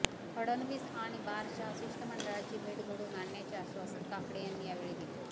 फडणवीस आणि बारच्या शिष्टमंडळाची भेट घडवून आणण्याचे आश्वासन काकडे यांनी यावेळी दिले